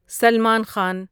Salman Khan